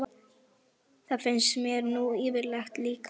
Það finnst mér nú yfirleitt líka.